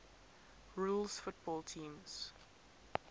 rules football teams